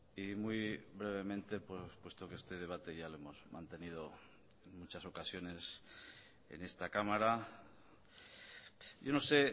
y muy brevemente puesto que este debate ya lo hemos mantenido en muchas ocasiones en esta cámara yo no sé